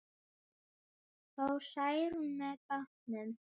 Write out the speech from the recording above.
Fór Særún með bátnum.